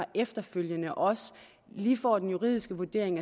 efterfølgende også lige får den juridiske vurdering